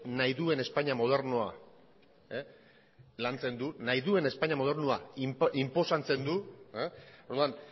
nahi duen espainia modernoa lantzen du nahi duen espainia modernoa inposatzen du orduan